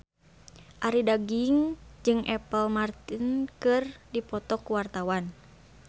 Arie Daginks jeung Apple Martin keur dipoto ku wartawan